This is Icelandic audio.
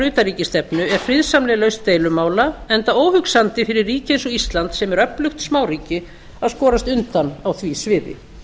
utanríkisstefnu er friðsamleg lausn deilumála enda óhugsandi fyrir ríki eins og ísland sem er öflugt smáríki að skorast undan á því sviði